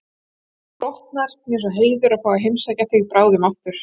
Hlotnast mér sá heiður að fá að heimsækja þig bráðum aftur